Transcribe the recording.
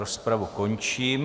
Rozpravu končím.